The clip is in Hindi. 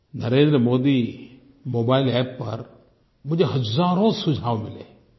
नरेंद्र मोदी मोबाइल अप्प पर मुझे हज़ारों सुझाव मिले हैं